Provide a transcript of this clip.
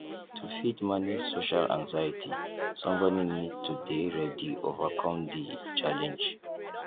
to fit manage social anxiety somebody need to dey ready overcome di challenge